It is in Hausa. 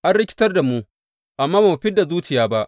An rikitar da mu, amma ba mu fid da zuciya ba.